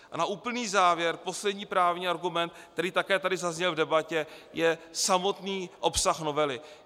A na úplný závěr poslední právní argument, který také tady zazněl v debatě, je samotný obsah novely.